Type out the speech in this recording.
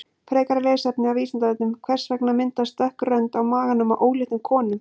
Frekara lesefni á Vísindavefnum: Hvers vegna myndast dökk rönd á maganum á óléttum konum?